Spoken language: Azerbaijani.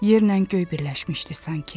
Yerlə göy birləşmişdi sanki.